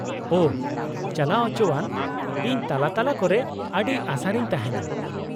-ᱳᱺ , ᱪᱟᱞᱟᱣ ᱚᱪᱚᱣᱟᱱ ! ᱤᱧ ᱛᱟᱞᱟ ᱛᱟᱞᱟ ᱠᱚᱨᱮ ᱟᱹᱰᱤ ᱟᱥᱟᱨᱤᱧ ᱛᱟᱦᱮᱱᱟ ᱾